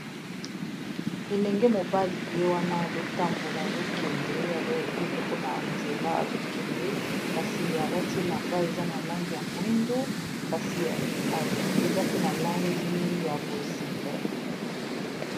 Elenge mobali ye wana azotambola azokende azo ye moko na nzela azokende kasi alati elamba eza na langi ya mwindu kasi eza pe na langi ya bozinga.